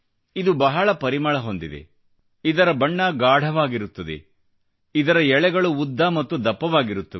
ಇದು ಬಹಳ ಪರಿಮಳವನ್ನು ಹೊಂದಿದೆ ಇದರ ಬಣ್ಣ ಗಾಢವಾಗಿರುತ್ತದೆ ಮತ್ತು ಇದರ ಎಳೆಗಳು ಉದ್ದ ಮತ್ತು ದಪ್ಪವಾಗಿರುತ್ತವೆ